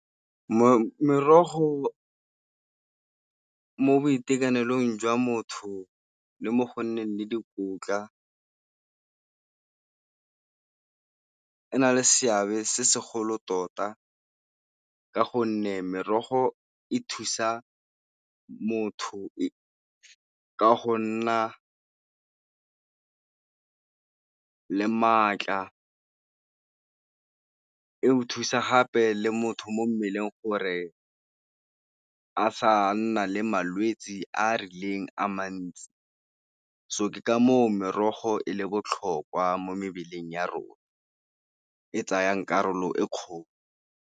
Merogo mo boitekanelong jwa motho le mo go nneng le dikotla e na le seabe se segolo tota ka gonne merogo e thusa motho ka go nna le maatla. E go thusa gape le motho mo mmeleng gore a sa nna le malwetse a a rileng a mantsi, so ke ka foo merogo e le botlhokwa mo mebeleng ya rona, e tsayang karolo e kgolo.